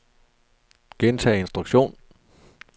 gentag instruktion